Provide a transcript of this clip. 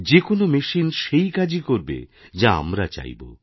যে কোনও মেশিন সেই কাজই করবেযা আমরা চাইব